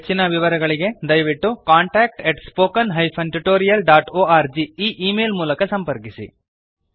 ಹೆಚ್ಚಿನ ವಿವರಗಳಿಗೆ ದಯವಿಟ್ಟು contactspoken tutorialorg ಈ ಈ ಮೇಲ್ ಮೂಲಕ ಸಂಪರ್ಕಿಸಿ